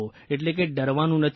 એટલે કે ડરવાનું નથી